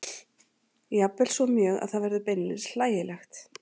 Jafnvel svo mjög að það verður beinlínis hlægilegt.